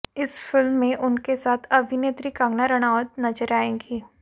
इस फिल्म में उनके साथ अभिनेत्री कंगना रणावत नजर आएंगी